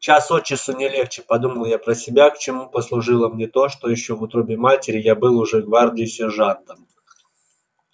час от часу не легче подумал я про себя к чему послужило мне то что ещё в утробе матери я был уже гвардии сержантом